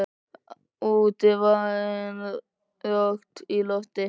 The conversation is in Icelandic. Úti var enn rakt í lofti.